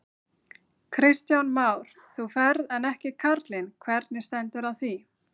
Kristján Már: Þú ferð en ekki karlinn, hvernig stendur á því?